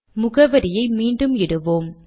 முகவரியை மீண்டும் இடுவோம்